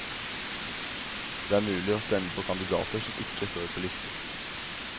Det er mulig å stemme på kandidater som ikke står på listen.